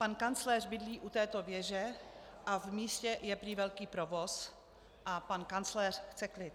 Pan kancléř bydlí u této věže a v místě je prý velký provoz a pan kancléř chce klid.